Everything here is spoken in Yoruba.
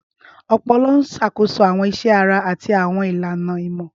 Ọpọlọ ń ṣàkóso àwọn iṣẹ́ ara àti àwọn ìlànà ìmọ̀.